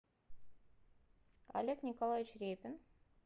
олег николаевич репин